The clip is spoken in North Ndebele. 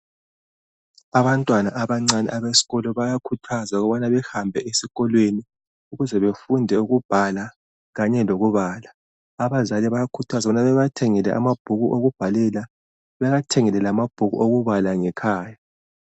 Abantwana abancane abeskolo bayakhuthazwa ukubana bahambe esikolweni ukuze befunde ukubhala kanye lokubala. Abazali bayakhuthazwa ukubana bebathengele amabhuku okubhalela bebathengele lamabhuku okubala ngekhaya.